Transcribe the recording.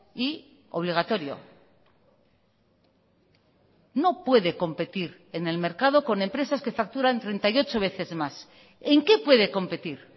y obligatorio no puede competir en el mercado con empresas que facturan treinta y ocho veces más en qué puede competir